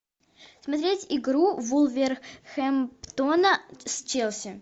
смотреть игру вулверхэмптона с челси